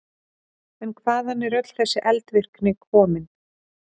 En hvaðan er öll þessi eldvirkni komin?